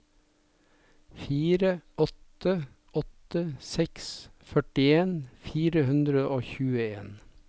fire åtte åtte seks førtien fire hundre og tjueen